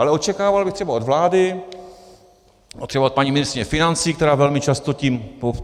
Ale očekával bych třeba od vlády, třeba od paní ministryně financí, která velmi často tím...